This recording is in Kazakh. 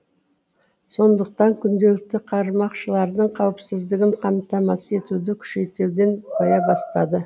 сондықтан күнделікті қармақшылардың қауіпсіздігін қамтамасыз етуді күшейтуден қоя бастады